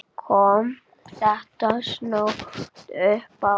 Kom þetta snöggt uppá?